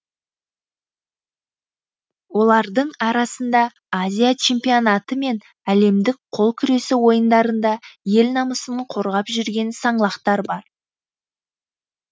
олардың арасында азия чемпионаты мен әлемдік қол күресі ойындарында ел намысын қорғап жүрген саңлақтар бар